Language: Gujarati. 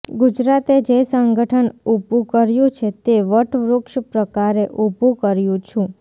ગુજરાતે જે સંગઠન ઉભુ કર્યું છે તે વટવૃક્ષ પ્રકારે ઉભુ કર્યું છું